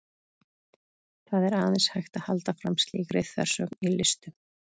Það er aðeins hægt að halda fram slíkri þversögn í listum.